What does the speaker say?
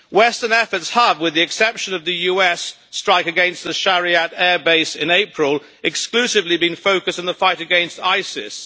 Western efforts have, with the exception of the US strike against the Shayrat airbase in April, exclusively been focused on the fight against ISIS.